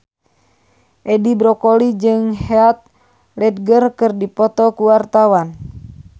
Edi Brokoli jeung Heath Ledger keur dipoto ku wartawan